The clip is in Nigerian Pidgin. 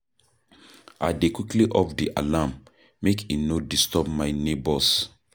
I dey quickly off di alarm, make e no disturb my nebors.